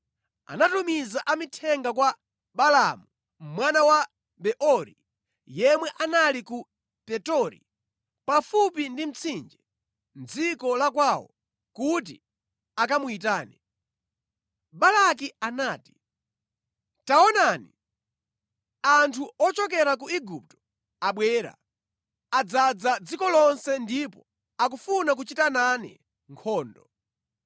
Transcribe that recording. anatumiza amithenga kwa Balaamu mwana wa Beori, yemwe anali ku Petori, pafupi ndi mtsinje, mʼdziko la kwawo kuti akamuyitane. Balaki anati: “Taonani, anthu ochokera ku Igupto abwera, adzaza dziko lonse ndipo akufuna kuchita nane nkhondo.